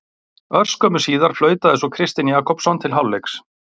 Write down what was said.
Örskömmu síðar flautaði svo Kristinn Jakobsson til hálfleiks.